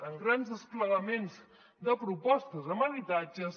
amb grans desplegaments de propostes amb habitatges